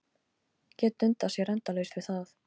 Gat dundað sér endalaust við það.